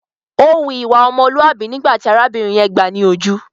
Ó hu ìwà ọmọlúàbí nígbà tí arábìnrin yẹn gbáà ni ojú.